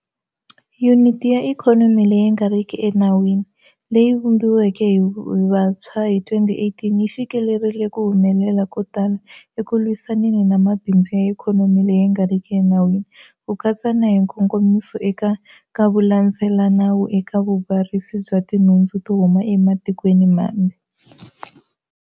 Yuniti ya Ikhonomi leyi nga riki Enawini leyi yi vumbiweke hi vuntshwa hi 2018 yi fikelerile ku humelela ko tala eku lwisaneni na mabindzu ya ikhonomi leyi nga riki enawini, ku katsa na hi nkongomiso eka nkavulandzelelanawu eka vubarisi bya tinhundzu to huma ematikweni mambe.